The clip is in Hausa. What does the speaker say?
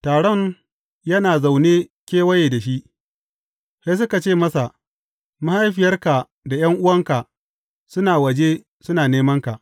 Taron yana zaune kewaye da shi, sai suka ce masa, Mahaifiyarka da ’yan’uwanka suna waje, suna nemanka.